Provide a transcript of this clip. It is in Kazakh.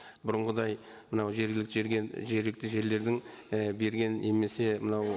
бұрынғыдай мынау жергілікті жергілікті жерлердің і берген немесе мынау